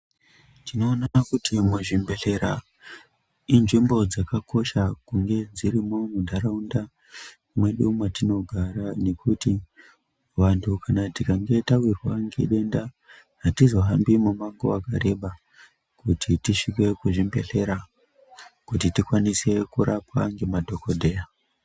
Tinoona kuti muzvibhedhlera inzvimbo dzakakosha kunge dzirimo muntaraunda mwedu mwatinogara nekuti vantu kana tikange tawirwa ngedenda hatizohambi mumango wakareba kuti tisvike kuzvibhedhlera kuti tikwanise kurapwa ngema dhogodheya.